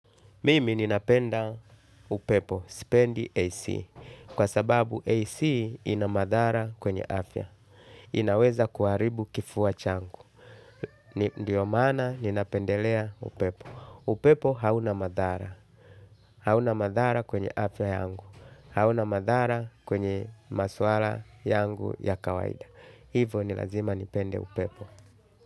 Mimi ninapenda upepo, spendi AC. Kwa sababu AC inamadhara kwenye afya. Inaweza kuharibu kifuwa changu. Ndiyo mana ninapendelea upepo. Upepo hauna madhara. Hauna madhara kwenye afya yangu. Hauna madhara kwenye maswara yangu ya kawaida. Hivo nilazima nipende upepo.